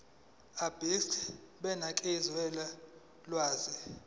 abegcis benganikeza ulwazi